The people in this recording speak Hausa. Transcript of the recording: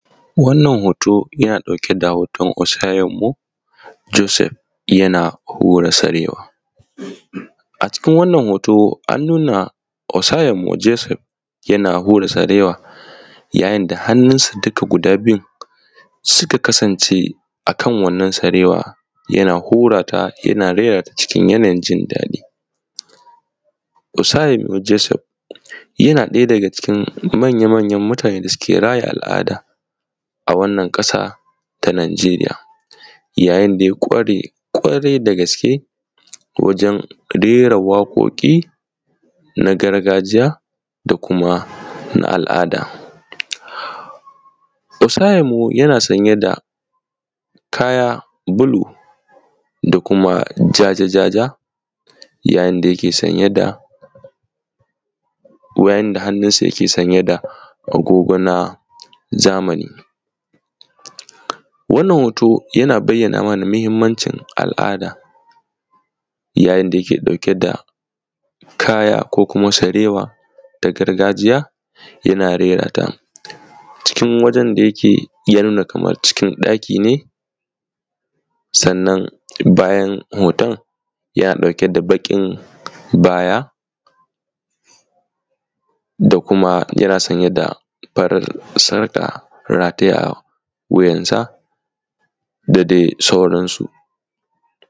Wannan hoto yana ɗauke da hoton Osa Yanbu Josef yana hura sarewa, a cikin wannan hoto, an nuna Osa Yanbu Josef yana hura sarewa, yayin da hannunsa duka guda biyun suka kasnance akan wannan sareewa, yana hurata, yana reerata, cikin yanayin jin daɗi. Osa Yanbu Josef yana ɗaya daga cikin manya-manyan mutane da suke raya al’aada a wannan ƙasa ta Nagariya, yayin da ya ƙware ƙwarai da gaske wajen reera waƙoƙi na gargajiya da kuma na al’aada. Osa Yanbu yana saye da kaya bulu da kuma ja-jaja, yayin da hannunsa yake sanye da agogo na zamani, wannan hoto yana bayyana mana muhimmancin al’ada, yayin da yake ɗauke da kaya ko kuma sarewa na gargajiya, yana rerata a cikin wurin da yake ya nuna kaman cikin ɗaki ne. Bayan hoton, yana ɗauke da baƙin baya, da kuma yana sanye da farin sarƙa rataye a wuyansa, da dai sauransu.